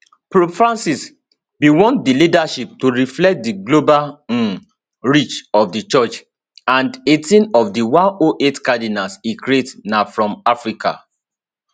pope francis bin want di leadership to reflect di global um reach of di church and 18 of di 108 cardinals e create na from africa